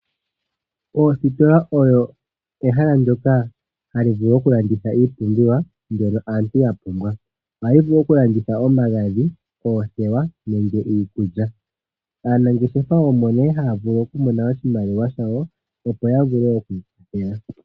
Oositola odho omahala ngoka haga landitha iipumbiwa. Ohadhi vulu oku landitha omagadhi, oothewa nenge iikulya. Aanangeshefa omo nee haya vulu oku mona oshimaliwa shawo opo yavule oku iikwathela.